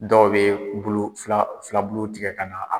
Dɔw bɛ bulu fila filabuluw tigɛ ka na